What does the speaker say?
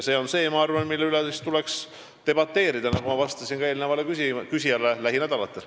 See on see, ma arvan, mille üle tuleks debateerida, nagu ma vastasin ka eelnevale küsijale, lähinädalatel.